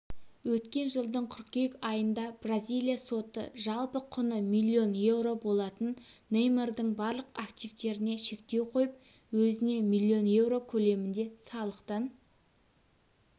өткен жылдың қыркүйек айында бразилия соты жалпы құны миллион еуро болатын неймардың барлық активтеріне шектеу қойып өзіне миллион еуро көлемінде салықтан